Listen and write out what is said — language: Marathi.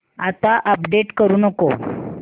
आता अपडेट करू नको